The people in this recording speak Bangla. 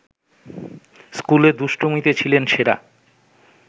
স্কুলে দুষ্টমিতে ছিলেন সেরা